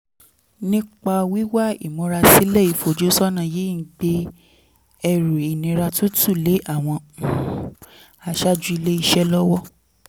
nípa wíwá ìmúrasílẹ̀ ìfojúsọ́nà yìí ń gbé ẹrù ìnira tuntun lé àwọn um aṣáájú ilé iṣẹ́ lọ́wọ́